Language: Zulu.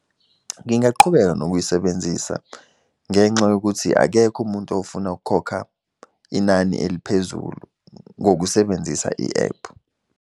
Ngingaqhubeka nokuyisebenzisa, ngenxa yokuthi akekho umuntu ofuna ukukhokha inani eliphezulu ngokusebenzisa i-ephu.